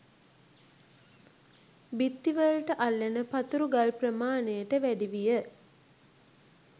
බිත්ති වලට අල්ලන පතුරු ගල් ප්‍රමාණයට වැඩි විය.